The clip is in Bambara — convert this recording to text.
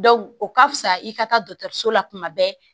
o ka fisa i ka taa dɔkitɛriso la tuma bɛɛ